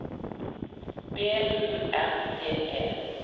B U R D E